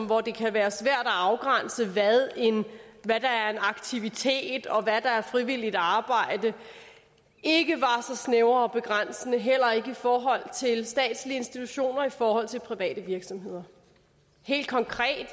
hvor det kan være svært at afgrænse hvad der er en aktivitet og hvad der er frivilligt arbejde ikke var så snævre og begrænsende heller ikke i forhold til statslige institutioner eller i forhold til private virksomheder helt konkret